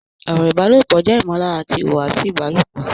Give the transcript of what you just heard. Ọ̀rọ̀ ìbálòpọ̀ jẹ́ ìmọ̀lára àti ìhùwàsí ìbálòpọ̀